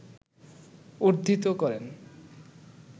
উদ্ধৃত করেন